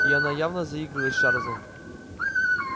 и она явно заигрывает с чарлзом